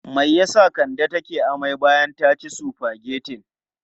Me ya sa Kande take amai bayan ta ci sufagetin?